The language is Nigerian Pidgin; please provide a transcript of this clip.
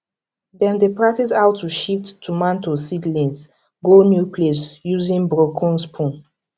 dem dey practise how to shift tomato seedlings go new place using broken spoon